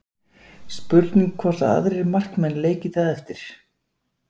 Spurning hvort að aðrir markmenn leiki það eftir?